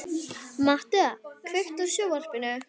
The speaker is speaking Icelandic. Mattea, kveiktu á sjónvarpinu.